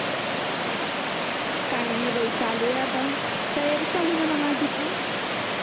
काय नाही बाई चालू आहे आता तयारी चालू आहे म्हणा माझी पण